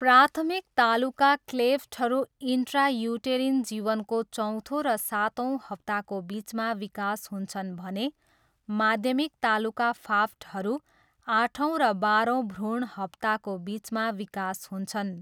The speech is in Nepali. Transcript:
प्राथमिक तालुका क्लेफ्टहरू इन्ट्रायुटेरिन जीवनको चौथो र सातौँ हप्ताको बिचमा विकास हुन्छन् भने माध्यमिक तालुका फाफ्टहरू आठौँ र बाह्रौँ भ्रूण हप्ताको बिचमा विकास हुन्छन्।